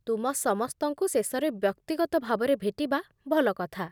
ତୁମ ସମସ୍ତଙ୍କୁ ଶେଷରେ ବ୍ୟକ୍ତିଗତ ଭାବରେ ଭେଟିବା ଭଲ କଥା